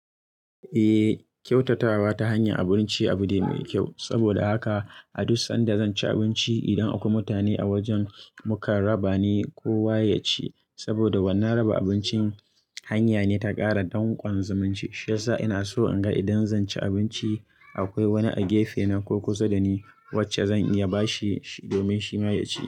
Eh, kyautatawa ta hanyar abinci abu ne mai kyau. Saboda haka a duk sanda zan ci abinci, idan akwai mutane a wajen, muka raba ne ko waye ya ci. Saboda wannan raba abincin hanya ne ta ƙara danƙon zumunci. Shiyasa ina so in ga idan zan ci abinci akwai wani a gefe na ko kusa da ni wacce zan iya bashi domin shi ma ya ci.